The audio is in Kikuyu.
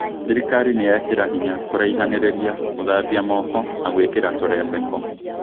Thirikari nĩ yekĩra hinya kũraihanĩrĩria, gũthambia moko na gũĩkĩra tũrembeko